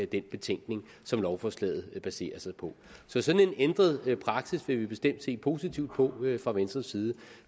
den betænkning som lovforslaget baserer sig på så sådan en ændret praksis vil vi bestemt se positivt på fra venstres side